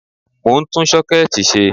Mọ̀ ń tún Ṣọ́kẹ́ẹ̀tì ṣe